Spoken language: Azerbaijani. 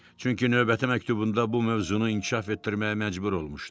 Çünki növbəti məktubunda bu mövzunu inkişaf etdirməyə məcbur olmuşdu.